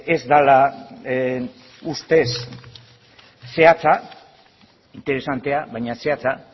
ez dela ustez zehatza interesantea baina zehatza